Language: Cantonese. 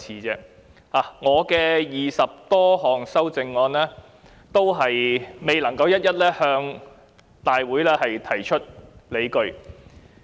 就我的20多項修正案，我未能一一在會議中提出理據。